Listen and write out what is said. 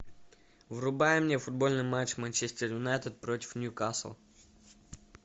врубай мне футбольный матч манчестер юнайтед против ньюкасл